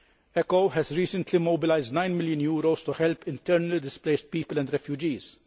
ECHO has recently mobilised EUR 9 million to help internally displaced people and refugees.